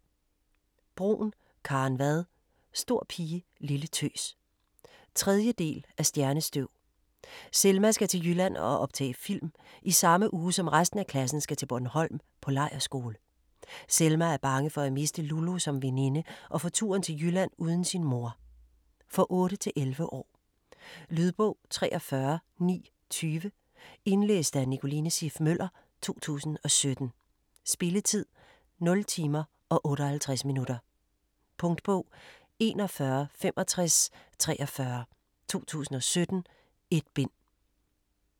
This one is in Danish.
Bruun, Karen Vad: Stor pige, lille tøs 3. del af Stjernestøv. Selma skal til Jylland og optage film, i samme uge som resten af klassen skal til Bornholm på lejrskole. Selma er bange for at miste Lulu som veninde og for turen til Jylland uden sin mor. For 8-11 år. Lydbog 43920 Indlæst af Nicoline Siff Møller, 2017. Spilletid: 0 timer, 58 minutter. Punktbog 416543 2017. 1 bind.